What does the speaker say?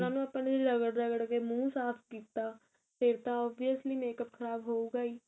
ਉਹਨਾ ਨੂੰ ਆਪਾਂ ਨੇ ਰਗੜ ਰਗੜ ਕੇ ਮੂਹ ਸਾਫ਼ ਕੀਤਾ ਫੇਰ ਤਾਂ obviously makeup ਖਰਾਬ ਹੋਊਗਾ ਈ